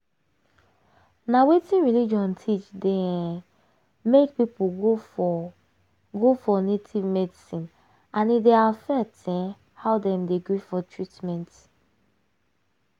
na wetin religion teach dey um make people go for go for native medicine and e dey affect um how dem dey gree for treatment.